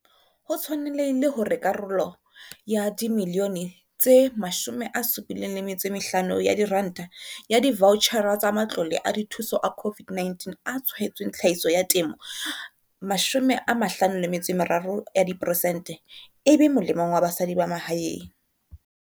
Ho tshwanehile hore karolo ya R75 milione ya divaotjhara tsa matlole a dithuso a COVID-19 a tshwaetsweng tlhahiso ya temo 53 ya diperesente e be molemong wa basadi ba mahaeng.